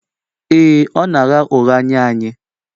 Ee, ọ na-agha ụgha nye anyị